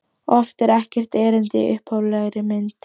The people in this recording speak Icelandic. Oft er ekkert erindi í upphaflegri mynd.